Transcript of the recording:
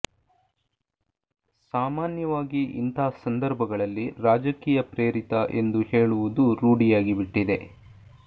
ಸಾಮಾನ್ಯವಾಗಿ ಇಂಥ ಸಂದರ್ಭಗಳಲ್ಲಿ ರಾಜಕೀಯ ಪ್ರೇರಿತ ಎಂದು ಹೇಳುವುದು ರೂಢಿಯಾಗಿಬಿಟ್ಟಿಿದೆ